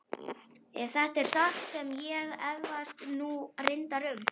Ef þetta er satt sem ég efast nú reyndar um.